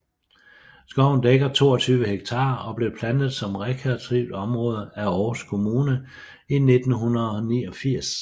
Skoven dækker 22 hektar og blev plantet som rekreativt område af Aarhus Kommune i 1989